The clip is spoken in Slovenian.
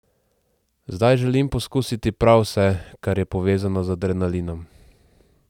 Zdaj želim poskusiti prav vse, kar je povezano z adrenalinom.